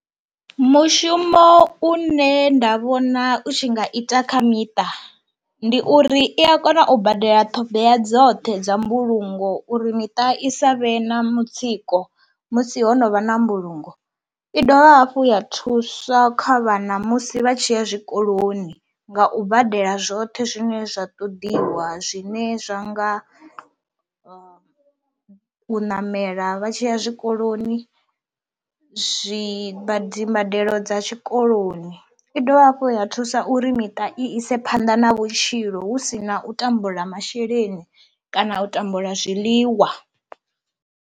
Mushumo une nda vhona u tshi nga ita kha miṱa ndi uri i a kona u badela ṱhoḓea dzoṱhe dza mbulungo uri miṱa i sa vhe na mutsiko musi ho no vha na mbulungo, i dovha hafhu ya thuswa kha vhana musi vha tshi ya zwikoloni nga u badela zwoṱhe zwine zwa ṱoḓiwa zwine zwa nga u ṋamela vha tshi ya zwikoloni zwimba dzimbadelo dza tshikoloni. I dovha hafhu ya thusa uri miṱa i ise phanḓa na vhutshilo hu si na u tambula masheleni kana u tambula zwiḽiwa.